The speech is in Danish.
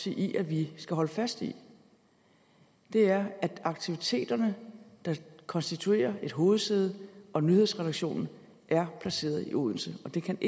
i at vi i skal holde fast i er at aktiviteterne der konstituerer et hovedsæde og nyhedsredaktionen er placeret i odense og de kan